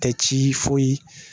Tɛ ci foyi